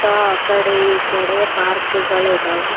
ತಾ ಕಡೆ ಈಕಡೆ ಪಾರ್ಕ್ ಗಳ ಇದ್ದವ.